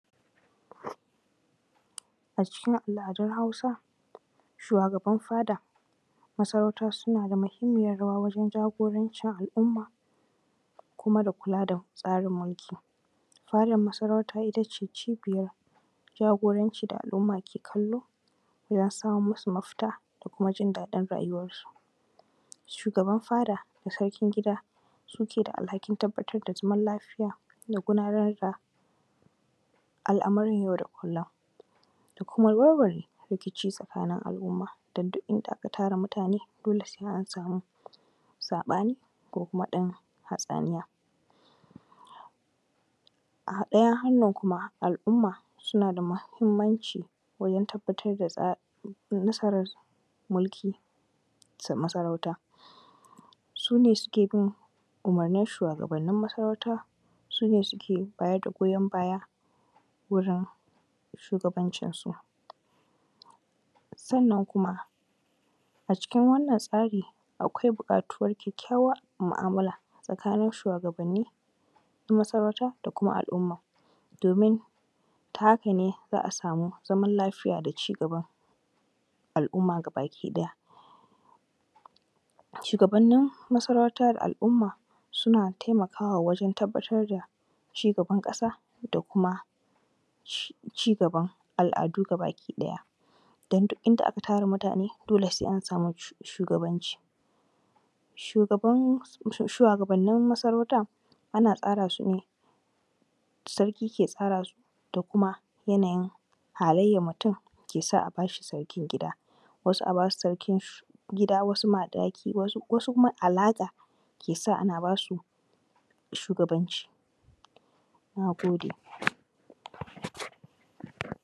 A cikin al’adun Hausa, shuwagabanin fada masarauta suna da muhimmiyar rawa wajen jagorancin al’umma, kuma da kula da tsarin mulki. Fadar masarauta it ace cobiya jagoranci da al’uuam ke kallo, ya samo masu mafita da jin daɗin rayuwarsu. Shugaban fada da sarkin gida suke da alhakin tabbatar da zaman lafiya da gudanar da al’amuran yau da kullum. Da kuma warware rikici tsakanin al’umma dan dole inda aka tara mutane dole sai an samu saɓani ko wani ɗan hatsaniya. A ɗaya hanyar kuma al’umma suna da muhimmanci wajen tabbatar da tsari musaran mulki masarauta, su ne suke bin umurnin shuwagabannin masarauta, su ne suke bayar da goyan baya wurin shugabancinsu. Sannan kuma a cikin wannan tsari akwai buƙatuwar kyakkwar mu’amula tsakanin shuwagabanni na masarauta da kuma sl’umms domin ta haka ne za a samin zaman lafiya da cigaba al’umma gaba-ɗaya. Shugabannin masarautar al’umma suna taimakawa wajen tabbatar da cigaban ƙasa, da kuma cigaban al’adu gaba ɗaya. Don duk inda aka tara mutane dole samu jagoranci. Shuwagabanin maarauta ana tsara su ne, sarki ke tsara su da kuma halayen tumum ke sa a ba shi sarkin gida. Wasu a bas u sarki gida wasu madahi wasu alaƙa ke sa ake bas u shugabanci. Na gode.